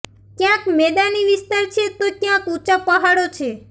ક્યાંક મેદાની વિસ્તાર છે તો ક્યાંક ઊંચા પહાડો છે